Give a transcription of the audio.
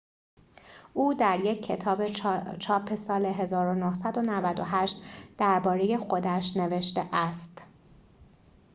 او در یک کتاب چاپ سال ۱۹۹۸ درباره خودش نوشته است